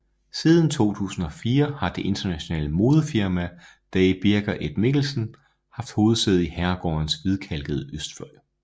Siden 2004 har det internationale modefirma Day Birger et Mikkelsen haft hovedsæde i herregårdens hvidkalkede østfløj